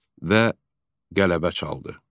Və qələbə çaldı.